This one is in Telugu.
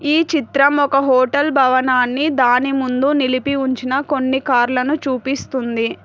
ఈ చిత్రం ఒక హోటల్ భవనాన్ని దాని ముందు నిలిపి ఉంచిన కొన్ని కార్ల ను చూపిస్తుంది.